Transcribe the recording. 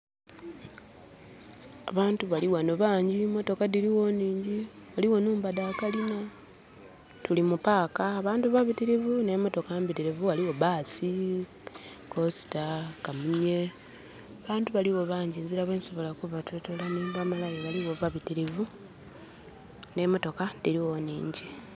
Abantu balighano bangi motoka dhirigho nhingi ghaligho nhumba dha kalina.. Tuli mu paaka abantu babitirivu n'emotoka mbitirivu. Ghaligho bbaasi, kosita, kamunye..Abantu baligho bangi nzira bwe nsobola kubaitotola nhimbamalayo baligho babitirivu n'emotoka dhirigho nhingi.